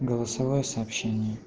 голосовое сообщение